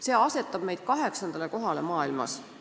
See asetab meid kaheksandale kohale maailmas.